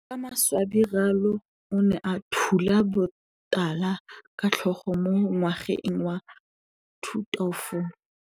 Ka maswabi Ralo o ne a thula botala ka tlhogo mo ngwageng wa 2004.